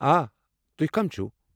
آ، تُہۍ کم چُھو؟